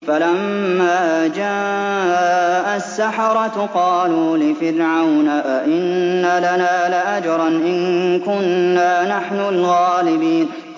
فَلَمَّا جَاءَ السَّحَرَةُ قَالُوا لِفِرْعَوْنَ أَئِنَّ لَنَا لَأَجْرًا إِن كُنَّا نَحْنُ الْغَالِبِينَ